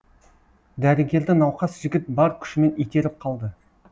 дәрігерді науқас жігіт бар күшімен итеріп қалды